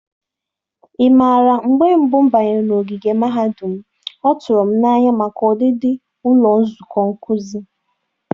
Ị mara, mgbe mbụ m banyere n'ogige mahadum m, ọ tụrụ m n'anya maka ọdịdị ụlọ nzukọ nkuzi.